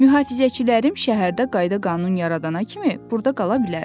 Mühafizəçilərim şəhərdə qayda-qanun yaradana kimi burda qala bilərəm.